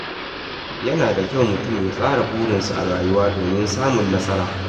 Yana da kyau mutum ya tsara burinsa a rayuwa domin samun nasara.